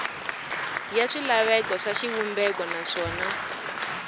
ya swilaveko swa xivumbeko naswona